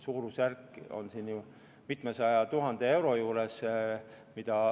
Suurusjärk, kui palju raha on küsitud, on ju mitmesaja tuhande euro juures.